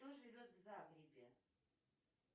кто живет в загребе